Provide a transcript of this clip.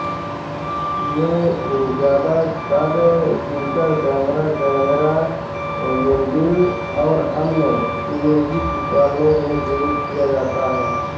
यह ज्यादातर digital camera camera module और अन्य इमेजिंग उपकरणों में प्रयोग किया जाता है